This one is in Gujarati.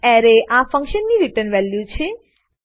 એરેએ આ ફંક્શન ની રીટર્ન વેલ્યુ છે